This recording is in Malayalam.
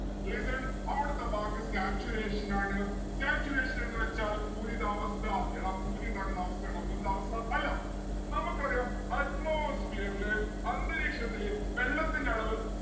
listen അവടുത്തെ വാക്ക് saturation ആണ്. saturation എന്ന് വെച്ചാൽ പൂരിതാവസ്ഥ. എടാ പൂരി ഇണ്ടാക്കുന്ന അവസ്ഥയാണോ പൂരിതാവസ്ഥ അല്ല നമ്മക്ക് അറിയാം atmosphere ല് അന്തരീക്ഷത്തില് വെള്ളത്തിന്റെ അളവ്